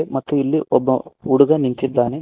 ಮತ್ತು ಇಲ್ಲಿ ಒಬ್ಬ ಹುಡುಗ ನಿಂತಿದ್ದಾನೆ.